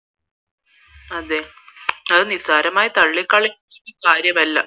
അതേ അത് നിസാരമായി തള്ളികളയാൻ പറ്റിയ സാധനമല്ല